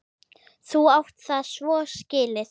Þú átt það svo skilið!